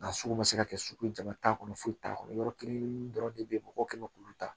Nka sugu ma se ka kɛ sugu jama t'a kɔnɔ foyi t'a kɔnɔ yɔrɔ kelen dɔrɔn de bɛ ye mɔgɔw tun bɛ k'u ta